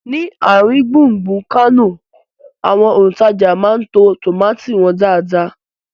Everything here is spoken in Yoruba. Ni àrin gbùngbùn Kánò, àwọn òntajà máa ń to tómátì wọn dáadáa